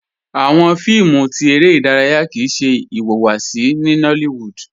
Awọn fíìmù tí èrè idaraya kíí ṣẹ iwáwáṣí ní Nollywood